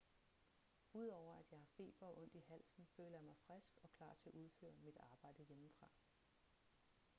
udover at jeg har feber og ondt i halsen føler jeg mig frisk og klar til at udføre mit arbejde hjemmefra